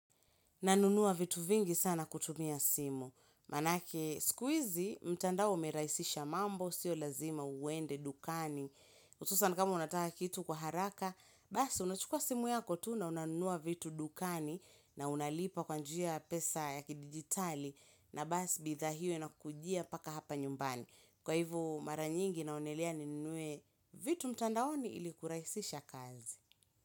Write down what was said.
Nanunua vitu vingi sana kutumia simu. Manake sikuizi, mtandao umev rahisisha mambo, sio lazima uende, dukani. Hususan kama unataka kitu kwa haraka, basi unachukua simu yako tu na unanunua vitu dukani na unalipa kwa njia pesa yakidigitali na basi bidhaa io na kujia mpaka hapa nyumbani. Kwa hivo mara nyingi naonelea ninue vitu mtandaoni ili kurahisisha kazi.